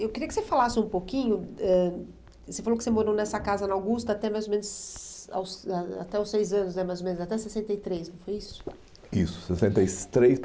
Eu queria que você falasse um pouquinho, ãh você falou que você morou nessa casa na Augusta até mais ou menos, aos ãh ãh até os seis anos né mais ou menos, até sessenta e três, não foi isso? Isso, sessenta e três